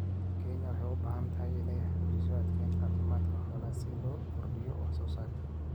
Kenya waxay u baahan tahay inay xoojiso adeegyada caafimaadka xoolaha si loo kordhiyo wax soo saarka.